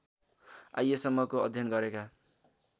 आइएसम्मको अध्ययन गरेका